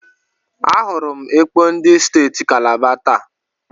Ahụrụ m ekpo ndị steeti Kalaba taa.